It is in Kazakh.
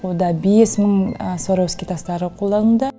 мұнда бес мың сваровский тастары қолданылды